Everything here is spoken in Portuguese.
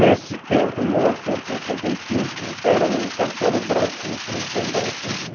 Nesse tempo, em mil novecentos e sessenta e cinco, era o Castelo Branco o presidente da República.